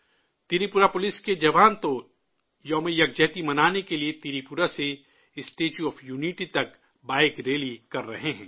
Tripura police کے جوان تو ایکتا دیوس منانے کے لیے تریپورہ سے اسٹیچو آف یونٹی تک بائیک ریلی کرر ہے ہیں